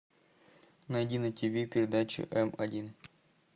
найди на тв передачу м один